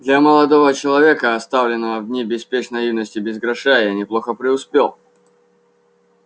для молодого человека оставленного в дни беспечной юности без гроша я неплохо преуспел